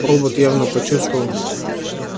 робот явно почувствовал